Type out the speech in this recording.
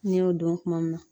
N'i y'o dɔn kuma min na